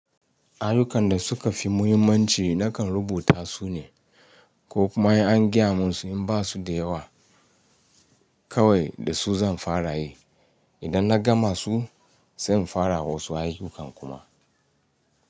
Ayyukan da suka fi muhimmanci nakan rubuta su ne ko kuma in an gaya mun su in ba su da yawa kawai da su zan fara yi. Idan na gama su zan fara wasu ayyuka kuma.